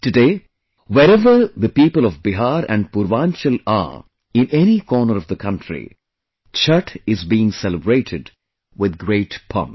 Today, wherever the people of Bihar and Purvanchal are in any corner of the country, Chhath is being celebrated with great pomp